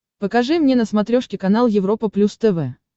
покажи мне на смотрешке канал европа плюс тв